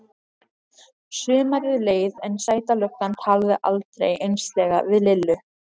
Sumarið leið en Sæta löggan talaði aldrei einslega við Lillu.